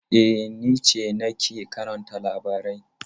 E, ni ce nake karanta labarai.